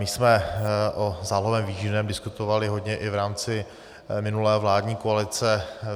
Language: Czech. My jsme o zálohovém výživném diskutovali hodně i v rámci minulé vládní koalice.